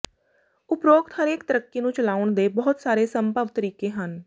ਉਪਰੋਕਤ ਹਰੇਕ ਤਰੱਕੀ ਨੂੰ ਚਲਾਉਣ ਦੇ ਬਹੁਤ ਸਾਰੇ ਸੰਭਵ ਤਰੀਕੇ ਹਨ